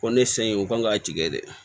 Ko ne sen in o kan ka tigɛ dɛ